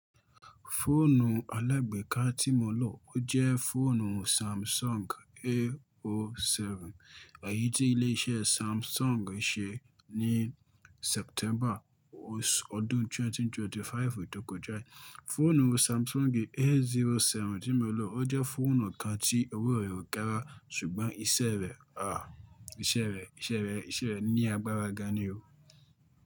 Fóònù alẹ̀gbẹ́ká tí mo lọ, ó jẹ́ fóònù Samsung AO7. Èyí tí ilé iṣẹ́ Samsung ṣe ní September ọdún 2025 tó kọjá. Fóònù Samsung A07 tí mo lọ, ó jẹ́ fóònù kan tí owó rẹ̀ ó gára ṣùgbọ́n iṣẹ́ rẹ̀, iṣẹ́ rẹ̀, iṣẹ́ rẹ̀, iṣẹ́ rẹ̀ ní agbára ga ni o.